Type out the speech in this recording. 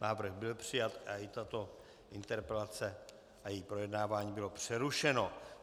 Návrh byl přijat a i tato interpelace a její projednávání bylo přerušeno.